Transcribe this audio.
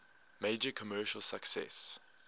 major commercial success